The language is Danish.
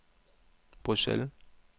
Bruxelles